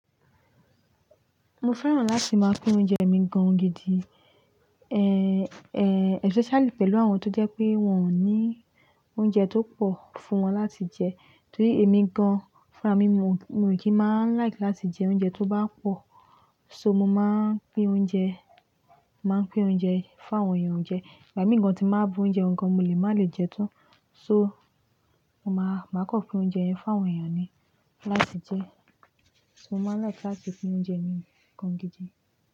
Mo fẹ́ràn láti máa pín oúnjẹ mi gan gidi, eh, eh, especially pẹ̀lú àwọn tó jẹ́ pé wọ́n ò ní oúnjẹ tó pọ̀ fún wọn láti jẹ. Torí èmi gan, fúnràmì mi mo, mo kì í má like láti jẹ oúnjẹ tó bá pọ̀. So mo máa ń pín oúnjẹ, màá pín oúnjẹ fún àwọn èèyàn jẹ. Ìgbà mì í gan tì n bá bu oúnjẹ gan, mo lè má lè jẹ tán. So mo má, má kan pín oúnjẹ yẹn fún àwọn èèyàn ni láti jẹ. So mo máa ń like láti pín oúnjẹ mi gan gidi.